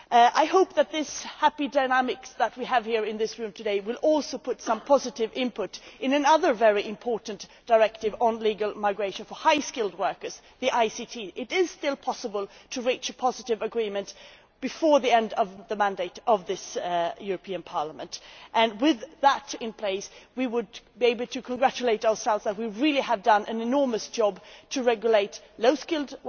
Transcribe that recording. I hope that the happy dynamics here in this Chamber today will also add some positive input to another very important directive on legal migration for highly skilled workers the ICTs Directive. It is still possible to reach a positive agreement before the end of the mandate of this Parliament and, with that in place, we would be able to congratulate ourselves that we really have done an enormous amount to regulate low skilled